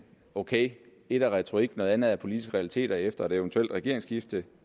ok ét er retorik noget andet er politiske realiteter efter et eventuelt regeringsskifte